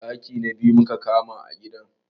Ɗaki na biyu muka kama a gidan